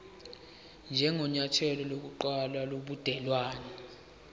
njengenyathelo lokuqala lobudelwane